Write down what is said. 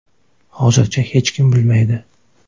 Hozircha hech kim bilmaydi.